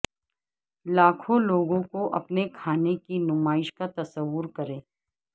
لاکھوں لوگوں کو اپنے کھانے کی نمائش کا تصور کریں